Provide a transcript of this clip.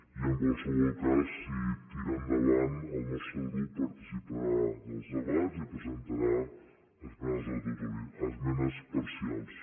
i en qualsevol cas si tira endavant el nostre grup participarà dels debats i presentarà esmenes parcials